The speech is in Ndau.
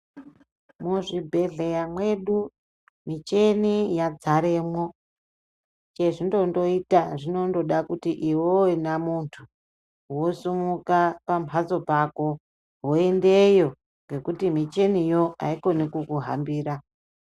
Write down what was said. Muzvibhedhleya mwedu micheni yadzaremwo, chezvindondoita zvinondoda kuti ivevena muntu vosimuka pamhatso pako, voendeyo nekuti micheniyo haikoni kukuhambira.